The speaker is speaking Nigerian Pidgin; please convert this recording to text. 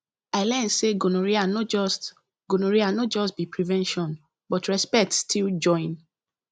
i learn say gonorrhea no just gonorrhea no just be prevention but respect still join